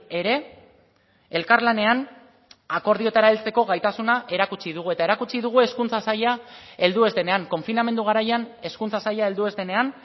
ere elkarlanean akordioetara heltzeko gaitasuna erakutsi dugu eta erakutsi dugu hezkuntza saila heldu ez denean konfinamendu garaian hezkuntza saila heldu ez denean